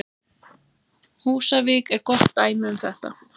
Húsavík er gott dæmi um þetta.